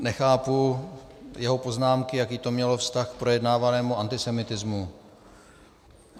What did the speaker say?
Nechápu jeho poznámky, jaký to mělo vztah k projednávanému antisemitismu.